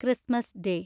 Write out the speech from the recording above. Christmas day